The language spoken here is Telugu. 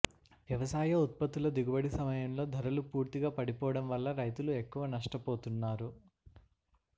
వ్యవసాయ ఉత్పత్తుల దిగుబడి సమయంలో ధరలు పూర్తిగా పడిపోవడం వల్ల రైతులు ఎక్కువ నష్టపోతున్నారు